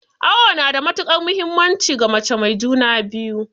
Awo nada muhimmanci ga mace mai juna biyu